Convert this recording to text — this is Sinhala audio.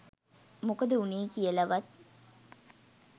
මොකද වුනේ කියලවත්